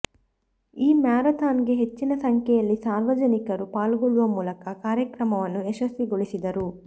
ಈ ಮ್ಯಾರಥಾನ್ಗೆ ಹೆಚ್ಚಿನ ಸಂಖ್ಯೆಯಲ್ಲಿ ಸಾರ್ವಜನಿಕರು ಪಾಲ್ಗೊಳ್ಳುವ ಮೂಲಕ ಕಾರ್ಯಕ್ರಮವನ್ನು ಯಶಸ್ವಿಗೊಳಿಸಿದರು